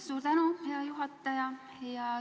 Suur tänu, hea juhataja!